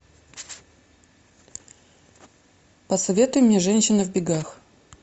посоветуй мне женщина в бегах